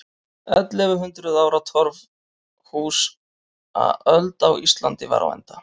Ellefu hundruð ára torfhúsaöld á Íslandi var á enda.